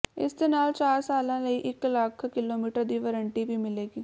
ਇਸ ਦੇ ਨਾਲ ਚਾਰ ਸਾਲਾਂ ਲਈ ਇਕ ਲੱਖ ਕਿਲੋਮੀਟਰ ਦੀ ਵਾਰੰਟੀ ਵੀ ਮਿਲੇਗੀ